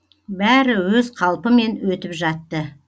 бәрі өз қалпымен өтіп жатты